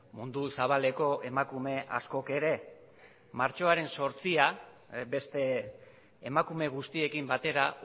mundu zabaleko emakume askok ere martxoaren zortzia beste emakume guztiekin batera